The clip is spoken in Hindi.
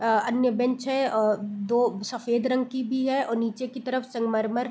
अ अन्य ब्रेंच है अ दो सफेद रंग की भी है और नीचे की तरफ संगमरमर --